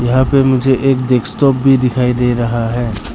यहां पे मुझे एक डेस्कटॉप भी दिखाई दे रहा है।